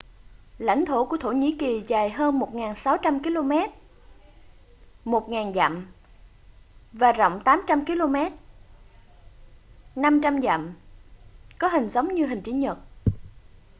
lãnh thổ của thổ nhĩ kỳ dài hơn 1.600 km 1.000 dặm và rộng 800 km 500 dặm có hình giống như hình chữ nhật